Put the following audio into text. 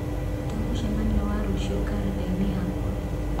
rũta mũcemanio wa rũciũ karenda-inĩ yakwa.